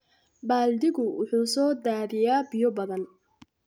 Baaldigu wuxuu soo daadiyaa biyo badan.